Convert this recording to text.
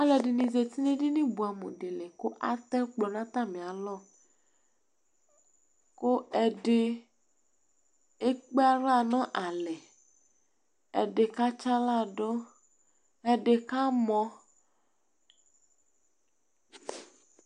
Alʋɛdìní zɛti ŋu ɛɖìní bʋamu ɖi li kʋ Atɛ ɛkplɔ ŋu atami alɔ Ɛɖì ekpe aɣla ŋu alɛ Ɛɖi katsi aɣla ɖu Ɛɖì kamɔ